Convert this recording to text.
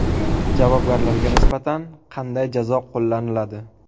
Javobgarlarga nisbatan qanday jazo qo‘llaniladi?.